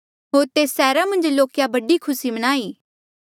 होर तेस सैहरा मन्झ लोके बड़ी खुसी मनाई